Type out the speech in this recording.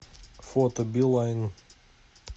фото билайн